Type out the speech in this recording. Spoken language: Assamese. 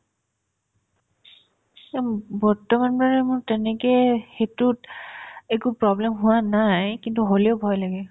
বৰ্তমান মানে মোৰ তেনেকে সেইটোত একো problem হোৱা নাই কিন্তু হ'লেও ভয় লাগে